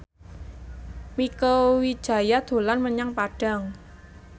Mieke Wijaya dolan menyang Padang